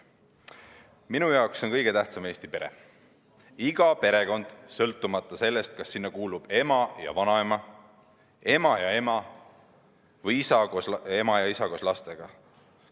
Minu jaoks on kõige tähtsam Eesti pere, iga perekond, sõltumata sellest, kas sinna kuulub ema ja vanaema, ema ja ema või isa ja ema koos lastega.